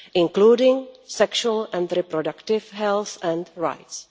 including sexual and reproductive health and rights.